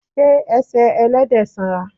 Ṣé ẹsẹ̀ Ẹlẹ́dẹ̀ sanra?